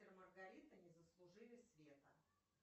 мастер и маргарита не заслужили света